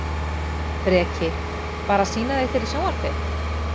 Breki: Bara að sýna þig fyrir sjónvarpið?